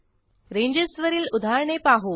रेंजेसवरील उदाहरणे पाहू